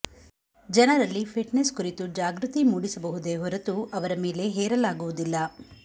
ಜನರಲ್ಲಿ ಫಿಟ್ನೆಸ್ ಕುರಿತು ಜಾಗೃತಿ ಮೂಡಿಸಬಹುದೇ ಹೊರತು ಅವರ ಮೇಲೆ ಹೇರಲಾಗುವುದಿಲ್ಲ